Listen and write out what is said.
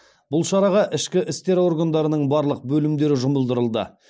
бұл шараға ішкі істер органдарының барлық бөлімдері жұмылдырылды